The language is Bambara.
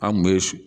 An kun be